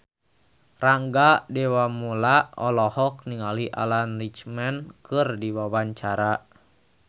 Rangga Dewamoela olohok ningali Alan Rickman keur diwawancara